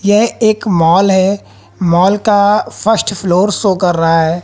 ये एक मॉल है मॉल का फर्स्ट फ्लोर शो कर रहा है।